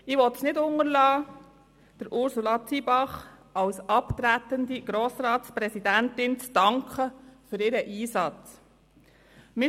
Ich will es nicht unterlassen, Ursula Zybach als abtretender Grossratspräsidentin für ihren Einsatz zu danken.